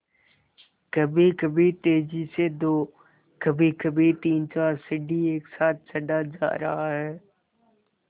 कभीकभी तेज़ी से दो कभीकभी तीनचार सीढ़ी एक साथ चढ़ा जा रहा है